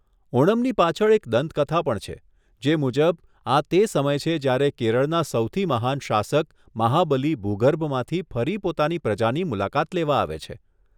ઓનમની પાછળ એક દંતકથા પણ છે, જે મુજબ, આ તે સમય છે જ્યારે કેરળના સૌથી મહાન શાસક મહાબલી ભૂગર્ભમાંથી ફરી પોતાની પ્રજાની મુલાકાત લેવા આવે છે.